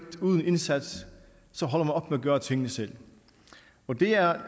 uden indsats så holder man op med at gøre tingene selv det er